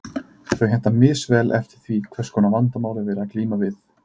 Þau henta misvel eftir því hvers konar vandamál er verið að glíma við.